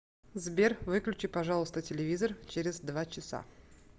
сбер выключи пожалуйста телевизор через два часа